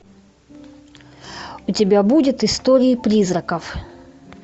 у тебя будет истории призраков